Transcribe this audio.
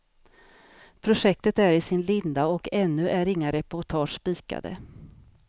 Projektet är i sin linda och ännu är inga reportage spikade.